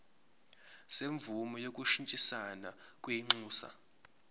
semvume yokushintshisana kwinxusa